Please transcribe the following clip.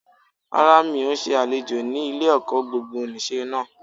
Rárá mi ò n se àlejò ni ilé-èkó gbogbonìse náà